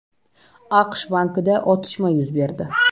AQSh bankida otishma yuz berdi.